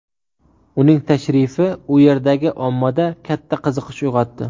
Uning tashrifi u yerdagi ommada katta qiziqish uyg‘otdi.